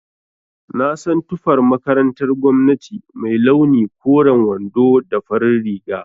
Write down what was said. Na san tufar makarantar gwamnati mai launi koren wando da farin riga